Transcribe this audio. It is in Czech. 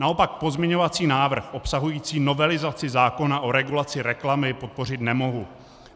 Naopak pozměňovací návrh obsahující novelizaci zákona o regulaci reklamy podpořit nemohu.